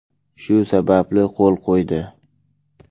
Shu sababli, qo‘l qo‘ydi”.